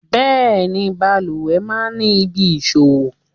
Bẹẹni, bàlùwẹ̀ máa ń ní ibi ìfọ̀wọ.